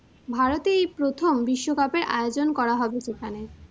ভারতে এই প্রথম বিশ্বকাপের আয়োজন করা হবে সেখানে।